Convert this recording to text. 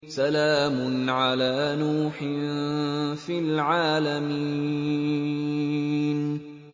سَلَامٌ عَلَىٰ نُوحٍ فِي الْعَالَمِينَ